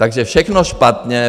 Takže všechno špatně.